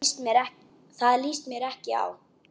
Það líst mér ekki á.